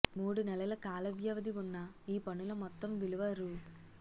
మూడు నెలల కాల వ్యవధి ఉన్న ఈ పనుల మొత్తం విలువ రూ